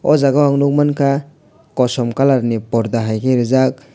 oh jagao ang nukmankha kosom colourni porda haikhe rijak.